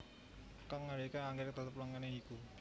Kang ndadekake anggrèk tetep langgeng ya iku